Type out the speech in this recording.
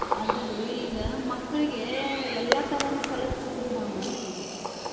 ಅದರೀ ಈಗ ಮಕ್ಕಳ್ಗೇ ಎಲ್ಲಾ ತರನು ಕಲ್ಸ್ಬಕ್ರಿ ನಾವ್.